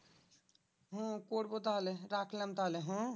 হু করবো তাহলে রাখলাম তাহলে হ্যাঁ?